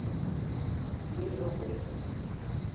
yerobert